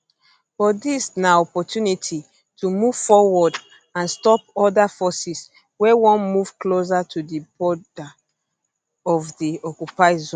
but dis na opportunity to move forward and stop oda forces wey wan move closer to di border of di occupied zone